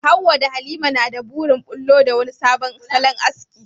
Hawwa da Halima na da burin bullo da wani sabon salon aski.